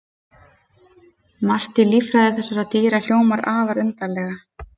Margt í líffræði þessara dýra hljómar afar undarlega.